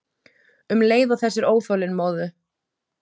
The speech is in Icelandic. Um leið og þessir óþolinmóðu